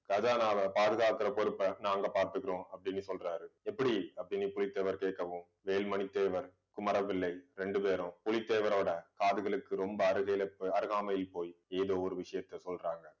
கஜானாவை பாதுகாக்கிற பொறுப்பை, நாங்க பார்த்துக்கிறோம் அப்படின்னு சொல்றாரு எப்படி அப்படின்னு புலித்தேவர் கேட்கவும் வேலுமணி தேவர் குமர பிள்ளை ரெண்டு பேரும் புலித்தேவரோட காதுகளுக்கு ரொம்ப அருகைல~ அருகாமையில் போய் ஏதோ ஒரு விஷயத்த சொல்றாங்க